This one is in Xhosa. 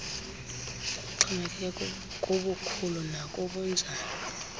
ixhomekeke kubukhulu nakubunjani